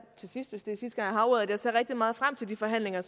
til sidst hvis det er sidste har ordet at jeg ser rigtig meget frem til de forhandlinger